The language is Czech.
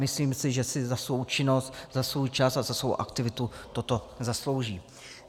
Myslím si, že si za svou činnost, za svůj čas a za svou aktivitu toto zaslouží.